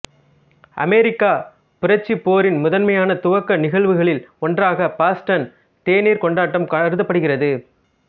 அமெரிக்கப் புரட்சிப் போரின் முதன்மையான துவக்க நிகழ்வுகளில் ஒன்றாக பாஸ்டன் தேநீர் கொண்டாட்டம் கருதப்படுகிறது